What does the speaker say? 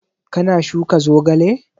Ka na shuka zogale?